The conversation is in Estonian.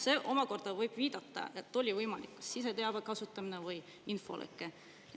See omakorda võib viidata sellele, et oli võimalik siseteabe kasutamine või infoleke.